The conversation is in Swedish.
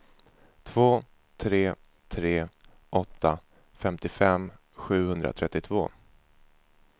två tre tre åtta femtiofem sjuhundratrettiotvå